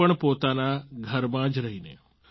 તે પણ પોતાના ઘરમાં જ રહીને